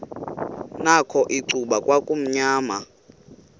nakho icuba kwakumnyama